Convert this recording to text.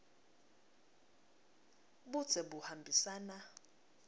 budze buhambisana